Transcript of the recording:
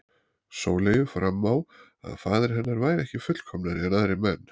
Sóleyju fram á að faðir hennar væri ekki fullkomnari en aðrir menn.